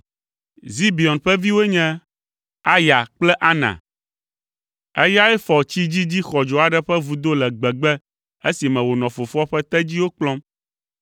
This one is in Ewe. Zibeon ƒe viwoe nye: Aya kple Ana. (Eyae fɔ tsi dzidzi xɔdzo aɖe ƒe vudo le gbegbe esime wònɔ fofoa ƒe tedziwo kplɔm.)